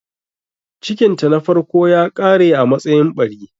Cikinta na farko ya ƙare a matsayin ɓari.